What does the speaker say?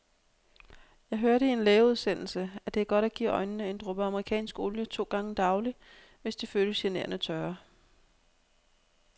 Jeg hørte i en lægeudsendelse, at det er godt at give øjnene en dråbe amerikansk olie to gange daglig, hvis de føles generende tørre.